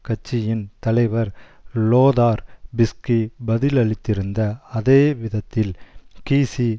கட்சியின் தலைவர் Lothar Bisky பதிலளித்திருந்த அதே விதத்தில் கீஸி